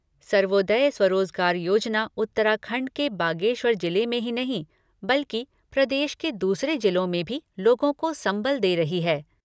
सर्वोदय स्वरोजगार योजना उत्तराखंड के बागेश्वर जिले में ही नहीं, बल्कि प्रदेश के दूसरे जिलों में भी लोगों को संबल दे रही है।